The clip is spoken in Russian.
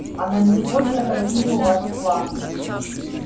а на сегодня какие у вас планы